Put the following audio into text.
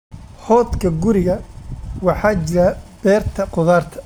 Hordhka guriga, waxaa jira beerta khudaarta.